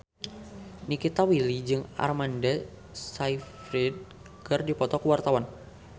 Nikita Willy jeung Amanda Sayfried keur dipoto ku wartawan